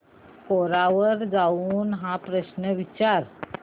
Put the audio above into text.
कोरा वर जाऊन हा प्रश्न विचार